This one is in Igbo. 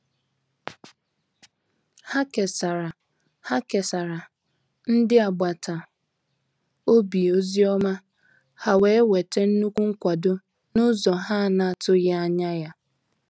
Ha kesara Ha kesara ndị agbata obi ozi ọma, ha wee nwete nnukwu nkwado n’ụzọ ha na-atụghị anya ya.